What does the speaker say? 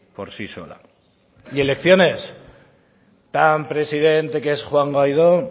por sí sola y elecciones tan presidente que es juan guaidó